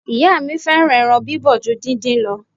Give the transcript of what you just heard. Ìyá mi fẹ́ràn ẹran bíbọ̀ ju díndín lọ.